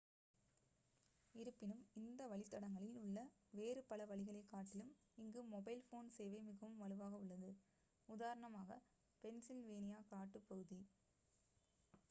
இருப்பினும் இந்த வழித்தடங்களில் உள்ள வேறு பல வழிகளைக் காட்டிலும் இங்கு மொபைல் போன் சேவை மிகவும் வலுவாக உள்ளது உதாரணமாக பென்சில்வேனியா காட்டுப்பகுதி